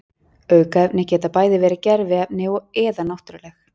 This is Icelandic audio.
aukefni geta bæði verið gerviefni eða náttúruleg